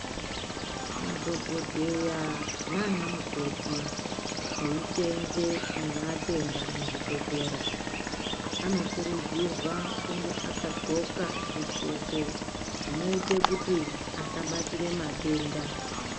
Madhogodheya naana mukoti eiseenze nevatenda muzvibhedhlera anokurudzirwa kunge akadxoka zvidxoko zvinoite kuti asabatire matenda.